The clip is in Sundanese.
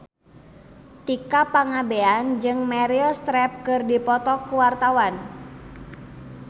Tika Pangabean jeung Meryl Streep keur dipoto ku wartawan